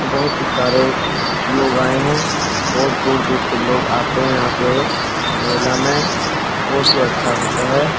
बहुत ही सारे लोग आये हैं बहुत दूर-दूर से लोग आते हैं यहाँ पे मेला में बहुत हीं अच्छा होता है।